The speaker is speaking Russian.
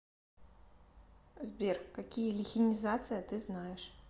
сбер какие лихенизация ты знаешь